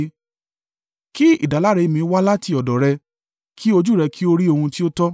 Kí ìdáláre mi wá láti ọ̀dọ̀ rẹ; kí ojú rẹ kí ó rí ohun tí ó tọ́.